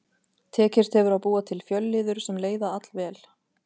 Tekist hefur að búa til fjölliður sem leiða allvel.